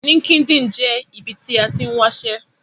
LinkedIn jẹ́ ibi tí a tín wáṣẹ́